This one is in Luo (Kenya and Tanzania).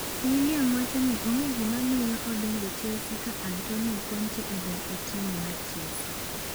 Willian wacho ni onge gima miyo odong' e Chelsea ka Antonio Conte odong' e tim mar Chelsea